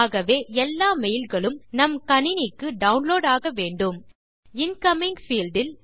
ஆகவே எல்லா mailகளும் நம் கணினிக்கு டவுன்லோட் ஆகவேண்டும் இன்கமிங் பீல்ட் இல்